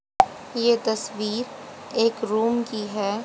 ये तस्वीर एक रूम की है।